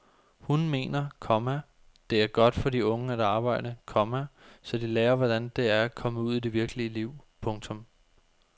Hun mener, komma det er godt for de unge at arbejde, komma så de lærer hvordan det er at komme ud i det virkelige liv. punktum